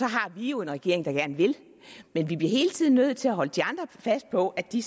har vi jo en regering der gerne vil men vi bliver hele tiden nødt til at holde de andre fast på at de